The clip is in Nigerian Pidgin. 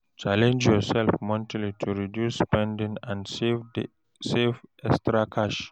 Challenge yourself monthly to reduce spending and save the extra cash.